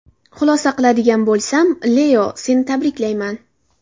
Xulosa qiladigan bo‘lsam, Leo, seni tabriklayman.